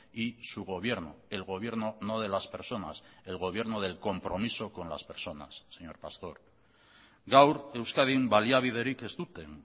y su gobierno el gobierno no de las personas el gobierno del compromiso con las personas señor pastor gaur euskadin baliabiderik ez duten